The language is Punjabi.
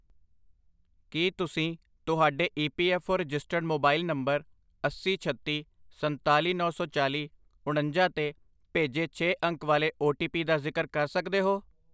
ਕੀ ਤੁਸੀਂ ਤੁਹਾਡੇ E P F O registered mobile number ਅੱਸੀ, ਛੱਤੀ, ਸਨਤਾਲੀ, ਨੌ ਸੌ ਚਾਲੀ, ਉਣੰਜਾ 'ਤੇ ਭੇਜੇ ਛੇ ਅੰਕ ਵਾਲੇ ਓ ਟੀ ਪੀ ਦਾ ਜ਼ਿਕਰ ਕਰ ਸਕਦੇ ਹੋ?